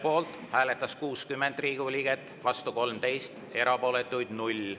Poolt hääletas 60 Riigikogu liiget, vastu 13, erapooletuks jäi 0.